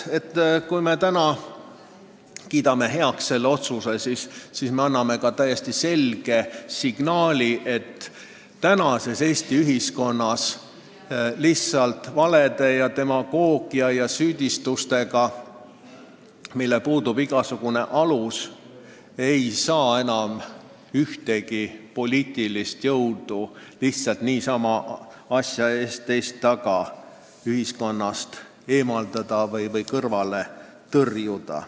Kui me täna selle otsuse heaks kiidame, siis anname selge signaali, et praeguses Eesti ühiskonnas valede, demagoogia ja süüdistustega, millel puudub igasugune alus, ei saa ühtegi poliitilist jõudu niisama, asja ees, teist taga ühiskonnast eemaldada või kõrvale tõrjuda.